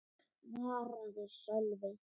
svaraði Sölvi.